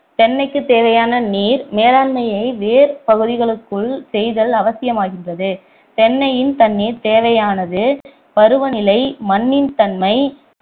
தென்னைக்கு தேவையான நீர் மேலாண்மையை வேர் பகுதிகளுக்குள் செய்தல் அவசியமாகின்றது தென்னையின் தண்ணிர் தேவையானது பருவநிலை மண்ணின் தன்மை